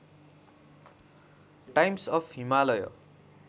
times of Himalaya